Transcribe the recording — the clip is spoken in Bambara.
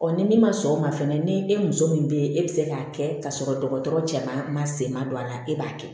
ni min ma sɔn o ma fɛnɛ ni e muso min bɛ yen e bɛ se k'a kɛ ka sɔrɔ dɔgɔtɔrɔ cɛ man se ma don a la e b'a kɛ